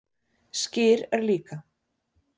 Skyr er líka